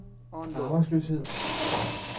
arbejdsløshed